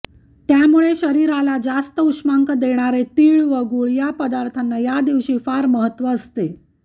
त्यामुळे शरीराला जास्त उष्मांक देणारे तीळ व गूळ या पदार्थाना या दिवशी फार महत्त्व असते